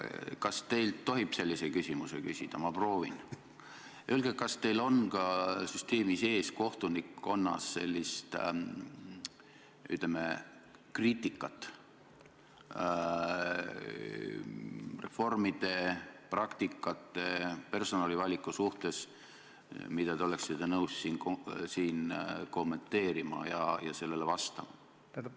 Kas teilt tohib küsida sellise küsimuse: kas teil on ka süsteemi sees kohtunikkonnas sellist kriitikat reformide, praktikate ja personalivaliku suhtes, mida te oleksite nõus siin kommenteerima?